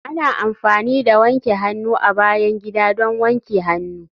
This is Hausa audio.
Ana amfani da wanke hannu a bayan gida don wanke hannu